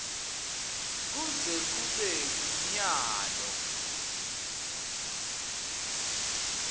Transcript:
kuze kube ngunyalo